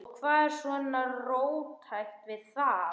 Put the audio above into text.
Og hvað er svona róttækt við þetta?